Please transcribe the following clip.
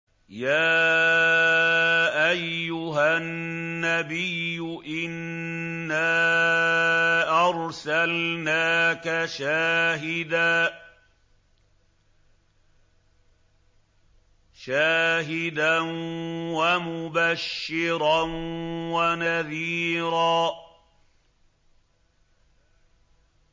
يَا أَيُّهَا النَّبِيُّ إِنَّا أَرْسَلْنَاكَ شَاهِدًا وَمُبَشِّرًا وَنَذِيرًا